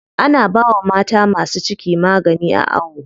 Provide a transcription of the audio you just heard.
Ana bawa mata masu ciki magani a awo.